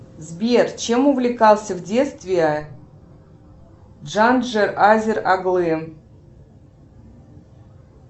сбер чем увлекался в детстве джандже азер оглы